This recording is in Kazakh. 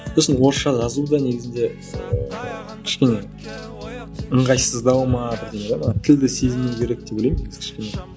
сосын орысша жазу да негізінде ііі кішкене ыңғайсыздау ма бірдеңе де маған тілді сезіну керек деп ойлаймын негізі кішкене